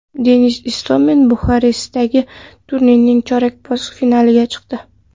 Denis Istomin Buxarestdagi turnirning chorak finaliga chiqdi.